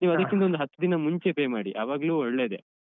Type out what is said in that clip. ನೀವ್ ಅದಿಕ್ಕಿಂತ ಒಂದ್ ಹತ್ನೆ ದಿನ ಮುಂಚೆ pay ಮಾಡಿ ಅವಾಗ್ಲು ಒಳ್ಳೆದೆ.